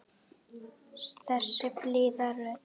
Þessi blíða rödd.